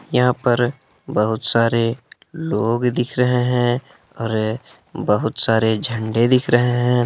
यहा पर बहुत सारे लोग दिख रहे है और बहुत सारे झंडे दिख रहे हैं।